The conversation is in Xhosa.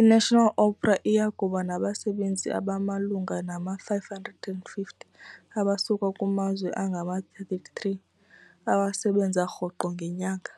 iNational Opera iya kuba nabasebenzi abamalunga nama-550 abasuka kumazwe angama-33 abasebenza rhoqo ngenyanga.